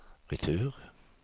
retur